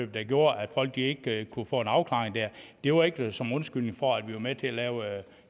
der gjorde at folk ikke kunne få en afklaring det var ikke som undskyldning for at vi var med til at lave